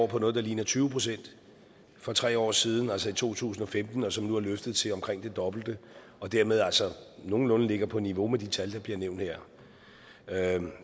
på noget der ligner tyve pct for tre år siden altså i to tusind og femten som nu er løftet til omkring det dobbelte og dermed altså nogenlunde ligger på niveau med de tal der bliver nævnt her